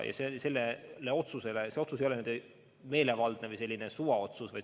See otsus ei ole meelevaldne või selline suvaotsus.